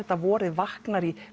vorið vaknar í